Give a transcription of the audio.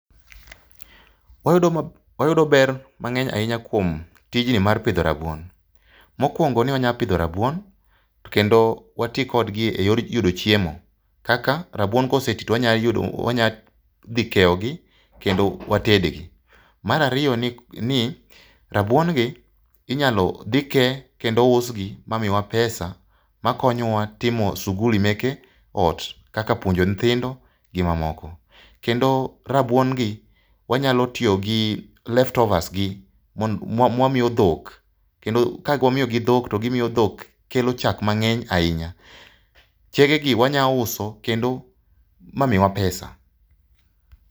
Wayudo ma wayude ber mang'eny ahinya kuom tijni mar pidho rabuon, mokuongo ni wanya pidho rabuon kendo wati kod gi e yor yudo chiemo kaka rabuon ka oseti to wanyalo dhi keyo gi kendo wated gi. Mar ariyo ni rabuon gi inyalo dhi ke kendo usgi ma miwa pesa ma konyo wa timo shughuli meke ot kaka puonjo nyithindo gi ma moko, kendo rabuon gi wa nyalo tiyo gi leftovers gi mondo ma wa miyo dhok, ka wamiyo gi dhok to gi miyo dhok kelo chak mang'eny ahinya. Chege gi wanya uso kendo ma miwa pesa.